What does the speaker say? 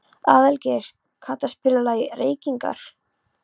Aðalgeir, kanntu að spila lagið „Reykingar“?